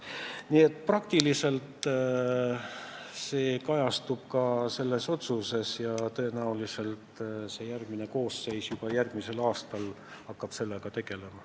Nii et see ettepanek kajastub ka selles otsuses ja tõenäoliselt järgmine koosseis hakkab juba järgmisel aastal sellega tegelema.